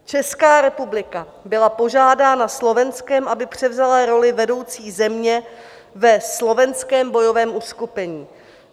Česká republika byla požádána Slovenskem, aby převzala roli vedoucí země ve slovenském bojovém uskupení.